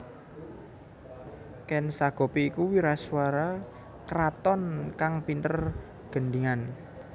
Ken Sagopi iku wiraswara kraton kang pinter gendhingan